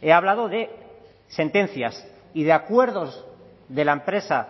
he hablado de sentencias y de acuerdos de la empresa